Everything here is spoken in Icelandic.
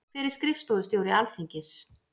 Hver er skrifstofustjóri Alþingis?